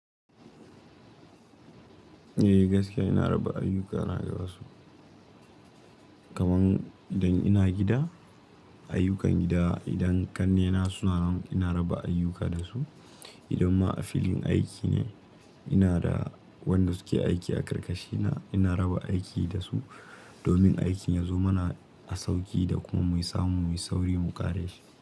Eh gaskiya ina raba ayyuka na da wasu. Kaman idan ina gida, ayyukan gida idan ƙannena suna nan ina raba ayyuka da su. Idan ma a filin aiki ne, ina da wanda suke aiki a karkashi na ina raba aiki da su, domin aikin ya zo mana da sauki da kuma muyi samu muyi sauri mu ƙare shi.